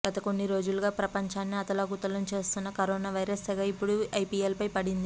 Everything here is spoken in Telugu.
గత కొన్ని రోజులుగా ప్రపంచాన్ని అతలాకుతలం చేస్తున్న కరోనా వైరస్ సెగ ఇప్పుడు ఐపీఎల్ పై పడింది